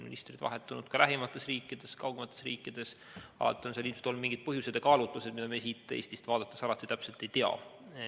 Ministreid on vahetunud nii lähemates riikides kui ka kaugemates riikides, alati on sel ilmselt olnud mingid põhjused ja kaalutlused, mida meie siit Eestist vaadates ei pruugi täpselt teada.